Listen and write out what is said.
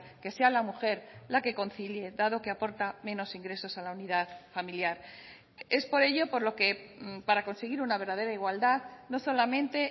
que sea la mujer la que concilie dado que aporta menos ingresos a la unidad familiar es por ello por lo que para conseguir una verdadera igualdad no solamente